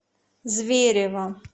зверево